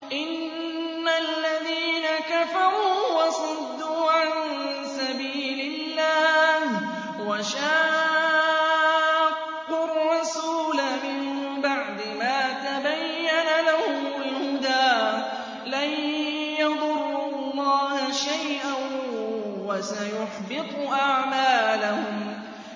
إِنَّ الَّذِينَ كَفَرُوا وَصَدُّوا عَن سَبِيلِ اللَّهِ وَشَاقُّوا الرَّسُولَ مِن بَعْدِ مَا تَبَيَّنَ لَهُمُ الْهُدَىٰ لَن يَضُرُّوا اللَّهَ شَيْئًا وَسَيُحْبِطُ أَعْمَالَهُمْ